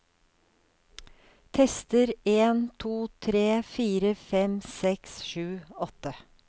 Tester en to tre fire fem seks sju åtte